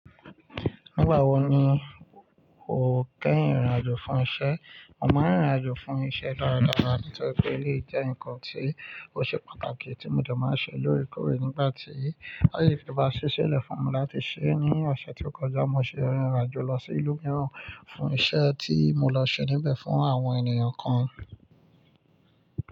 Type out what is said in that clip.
Nígbà wo ni o kéyìn ìrìnàjò fún iṣẹ́? Mo máa ń rìn rìnàjò fún iṣẹ́ dáradára, nítorí pé éléyì jẹ́ ǹkan tí ó ṣe pàtàkì tí mo dé máa ń ṣe lóòrèkóòrè nígbà tí, bá yé tó bá ṣí ṣẹ́ lẹ̀ fún mi láti ṣẹ́ ní ọ̀sẹ̀ tí ó kọjá, mo ṣe ìrìnàjò lọ sí ìlú mìíràn fún iṣẹ́ tí mo lọ ṣe níbẹ̀ fún àwọn ènìyàn kan.